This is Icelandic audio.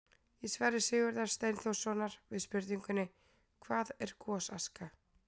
Í svari Sigurðar Steinþórssonar við spurningunni: Hvað er gosaska?